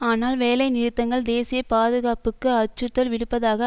ஆனால் வேலை நிறுத்தங்கள் தேசிய பாதுகாப்புக்கு அச்சறுத்தல் விடுப்பதாக